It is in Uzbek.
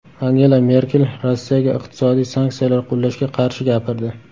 Angela Merkel Rossiyaga iqtisodiy sanksiyalar qo‘llashga qarshi gapirdi.